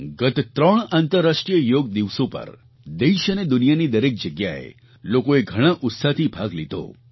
ગત ત્રણ આંતરરાષ્ટ્રીય યોગ દિવસો પર દેશ અને દુનિયાની દરેક જગ્યાએ લોકોએ ઘણા ઉત્સાહથી ભાગ લીધો